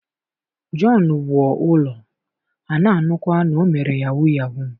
john wuo ulo ha na anukwa na o mere yahoo yahoo.